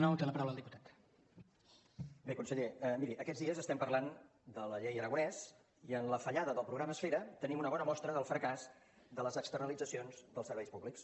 bé conseller miri aquests dies estem parlant de la llei aragonès i en la fallada del programa esfera tenim una bona mostra del fracàs de les externalitzacions dels serveis públics